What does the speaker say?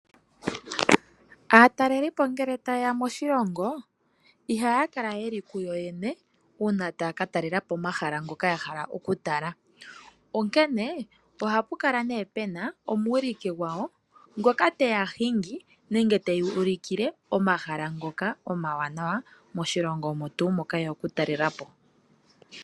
Aatalelipo ngele tayeya moshilongo ihaya kala yeli kuyoyene uuna taya katalelapo omahala ngoka yahala oku tala. Onkene ohapu kala ne pena omuwiliki gwawo ngoka teya hingi nenge teya ulikile omahala ngoka omawanawa moshilongo omo tuu moka yeya okutalelapo.